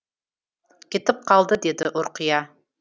кетіп қалды деді ұрқия